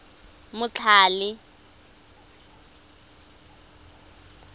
motlhale